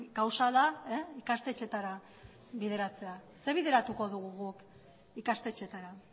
gauza da ikastetxeetara bideratzea zer bideratuko dugu guk ikastetxeetara